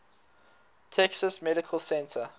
texas medical center